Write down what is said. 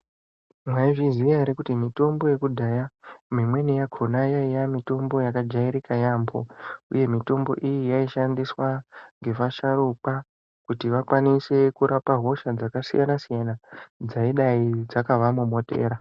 Mwaizviziya ere kuti mitombo yekudhaya mimweni yakona yaiya mitombo yakajairika yambo uye mitombo iyi yaishandiswa ngevasharukwa kuti vakwanise kurapa hosha dzakasiyana siyana dzaidai dzakavamomotera.